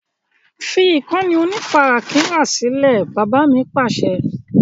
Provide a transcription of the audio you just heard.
Fi ìkànnì onífarakínra sílẹ̀! Bàbá mi Pàṣẹ.